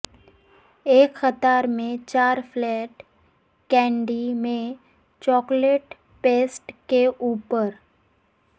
ایک قطار میں چار فلیٹ کینڈی میں چاکلیٹ پیسٹ کے اوپر